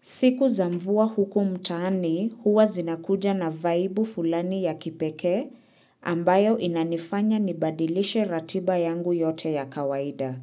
Siku za mvua huku mtaani huwa zinakuja na vaibu fulani ya kipekee ambayo inanifanya nibadilishe ratiba yangu yote ya kawaida.